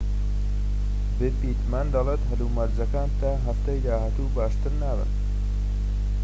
پیتمن دەڵێت هەلومەرجەکان تا هەفتەی داهاتوو باشتر نابن